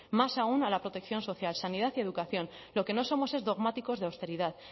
más aún a la protección social sanidad y educación lo que no somos es dogmáticos de austeridad